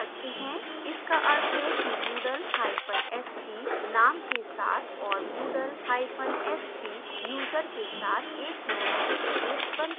इसका अर्थ है कि moodlest name के साथ और moodlest यूजर के साथ एक नया database बनता है